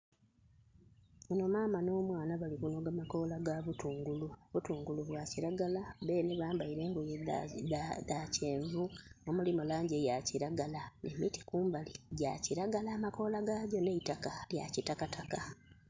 Mama no mwaana bali kunoga makola ga butungulu, obutungulu bwa kilagala bene bambaire engoye dha kyenvu omulimu langi eya kilagala. Emiti kumbali gya kilagala amakola gagyo n' eitaka lya kitakataka.